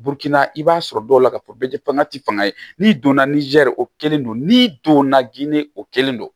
i b'a sɔrɔ dɔw la k'a fɔ bɛɛ tɛ fanga ti fanga ye n'i donna ni jar'o kelen don n'i donna ginde o kelen don